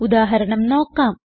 ഉദാഹരണം നോക്കാം